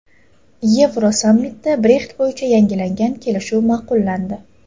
Yevrosammitda Brexit bo‘yicha yangilangan kelishuv ma’qullandi.